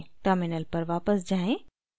terminal पर वापस जाएँ